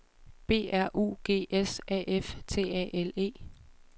B R U G S A F T A L E